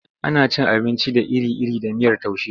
Ana cin abinci da iri-iri da miyar taushe.